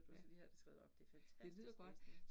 Ja, det lyder godt